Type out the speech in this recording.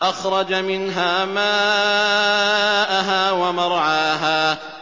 أَخْرَجَ مِنْهَا مَاءَهَا وَمَرْعَاهَا